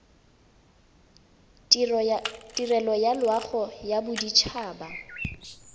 tirelo ya loago ya bodit